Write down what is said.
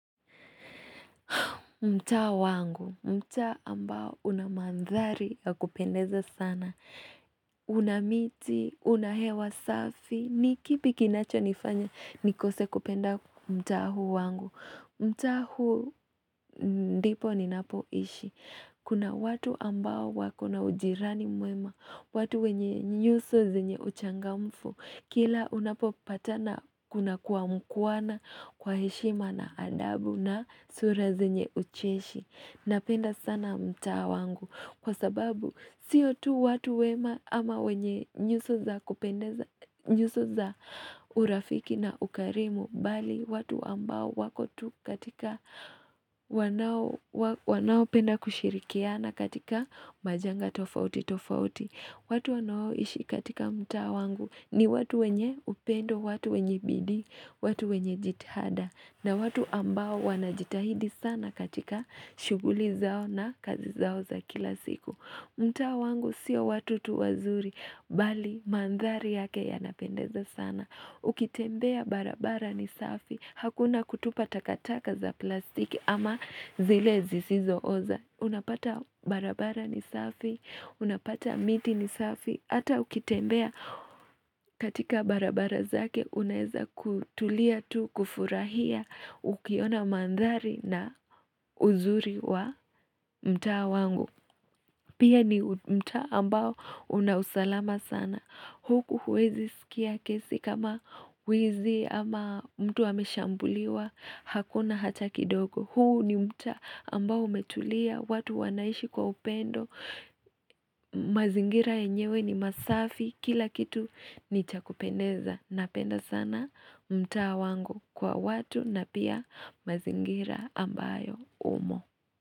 Mtaa wangu, mtaa ambao unamandhari ya kupendeza sana, unamiti, unahewa safi, nikipi kinacho nifanya nikose kupenda mtaa huu wangu. Mtaa huun dipo ni napoishi Kuna watu ambao wakona ujirani mwema watu wenye nyuso zenye uchangamfu Kila unapo patana kuna kuamkuwana kwa heshima na adabu na sura zenye ucheshi Napenda sana mtaa wangu Kwa sababu siyo tu watu wema ama wenye nyuso za urafiki na ukarimu bali watu ambao wakotu katika wanao penda kushirikia na katika majanga tofauti tofauti watu wanaoishi katika mtaa wangu ni watu wenye upendo, watu wenye bidii, watu wenye jitihada na watu ambao wanajitahidi sana katika shuguli zao na kazi zao za kila siku mtaa wangu sio watu tuwazuri bali mandhari yake yanapendeza sana Ukitembea barabara nisafi Hakuna kutupa takataka za plastiki ama zile zisizo oza Unapata barabara nisafi Unapata miti nisafi Ata ukitembea katika barabara zake Unaeza kutulia tu kufurahia Ukiona mandhari na uzuri wa mtaa wangu Pia ni mtaa ambao unausalama sana Huku huwezi sikia kesi kama wizi ama mtu hameshambuliwa hakuna hata kidogo. Huu ni mtaa ambao umetulia, watu wanaishi kwa upendo, mazingira yenyewe ni masafi, kila kitu ni chakupendeza. Napenda sana mtaa wangu kwa watu na pia mazingira ambayo umo.